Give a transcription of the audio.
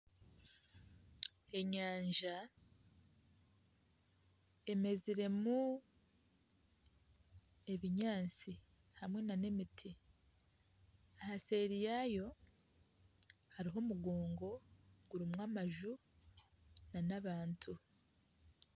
Enyanja emeziremu ebinyaantsi hamwe n'emiti ahaseeri yayo hariyo omugongo gurimu amaju nana abantu.